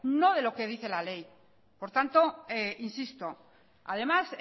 no de lo que dice la ley por tanto insisto además